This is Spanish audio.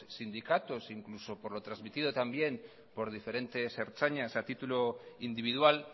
sindicatos e incluso por lo trasmitido también por diferentes ertzainas a titulo individual